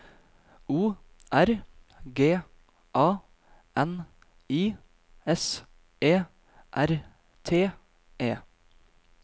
O R G A N I S E R T E